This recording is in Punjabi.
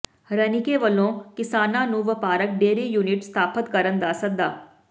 ਰਣੀਕੇ ਵੱਲੋਂ ਕਿਸਾਨਾਂ ਨੂੰ ਵਪਾਰਕ ਡੇਅਰੀ ਯੂਨਿਟ ਸਥਾਪਤ ਕਰਨ ਦਾ ਸੱਦਾ